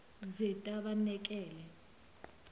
zetabanekele